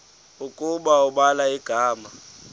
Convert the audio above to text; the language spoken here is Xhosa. ukuba ubhala igama